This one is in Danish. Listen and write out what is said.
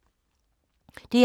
DR2